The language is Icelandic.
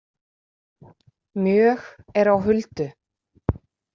Mjög er á huldu.